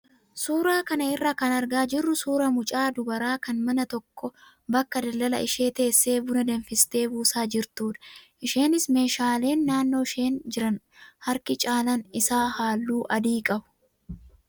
Suuraa kana irraa kan argaa jirru suuraa mucaa dubaraa kan mana tokko bakka daldalaa ishee teessee buna danfistee buusaa jirtudha. Isheenis meeshaaleen naannoo isheen jiran harki caalaan isaa halluu adii qabu.